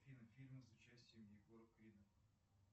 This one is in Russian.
афина фильмы с участием егора крида